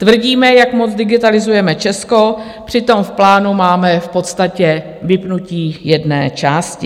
Tvrdíme, jak moc digitalizujeme Česko, přitom v plánu máme v podstatě vypnutí jedné části.